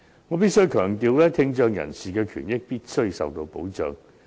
我必須強調，聽障人士的權益必須受到保障。